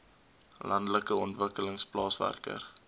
landelike ontwikkeling plaaswerker